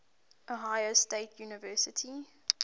ohio state university